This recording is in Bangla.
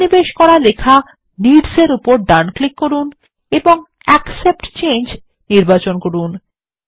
সন্নিবেশ করা লেখা নিডস এর উপর ডান ক্লিক করুন এবং অ্যাকসেপ্ট চেঞ্জ নির্বাচন করুন